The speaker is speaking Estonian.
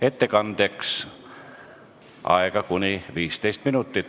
Ettekandeks on aega kuni 15 minutit.